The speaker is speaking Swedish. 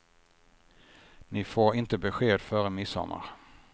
Ni får inte besked före midsommar.